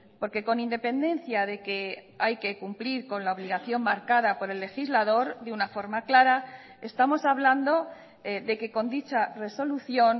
porque con independencia de que hay que cumplir con la obligación marcada por el legislador de una forma clara estamos hablando de que con dicha resolución